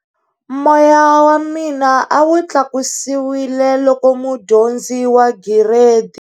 Moya wa mina a wu tlakusiwile loko mudyondzi wa Giredi.